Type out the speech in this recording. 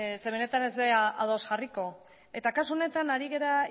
ze benetan ez gara ados jarriko kasu honetan